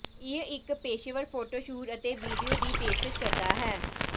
ਇਹ ਇੱਕ ਪੇਸ਼ੇਵਰ ਫੋਟੋ ਸ਼ੂਟ ਅਤੇ ਵੀਡੀਓ ਦੀ ਪੇਸ਼ਕਸ਼ ਕਰਦਾ ਹੈ